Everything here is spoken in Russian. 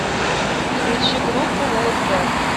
включи группу лэйд бэк